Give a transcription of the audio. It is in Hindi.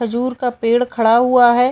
खजूर का पेड़ खड़ा हुआ है।